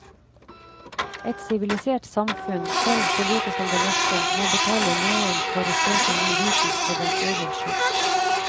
Et sivilisert samfunn, selv så lite som det norske, må betale noen for å søke ny viten for dens egen skyld.